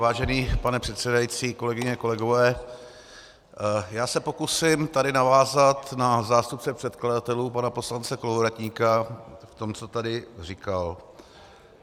Vážený pane předsedající, kolegyně, kolegové, já se pokusím tady navázat na zástupce předkladatelů pana poslance Kolovratníka v tom, co tady říkal.